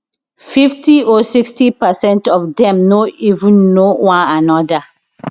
fifty or sixty percent of dem no even know one anoda